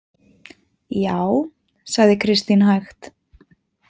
Já, sagði Kristín hægt.